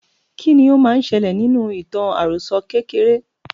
kí ni ó máa n ṣẹlẹ̀ nínú ìtàn àròsọ kékeré?